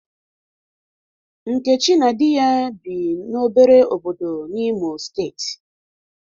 Nkechi na di ya bi n'obere obodo n'Imo steeti.